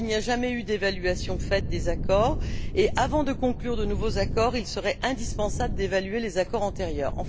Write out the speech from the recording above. Or, il n'y a jamais eu d'évaluation des accords et, avant de conclure de nouveaux accords, il serait indispensable d'évaluer les accords antérieurs.